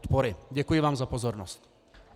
Děkuji vám za pozornost.